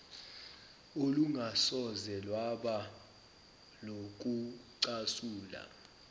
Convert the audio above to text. olungasoze lwaba nokucasula